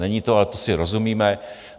Není to, ale to si rozumíme.